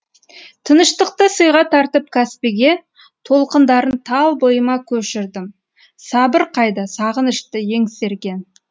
тыныштықты сыйға тартып каспиге толқындарын тал бойыма көшірдім сабыр қайда сағынышты еңсерген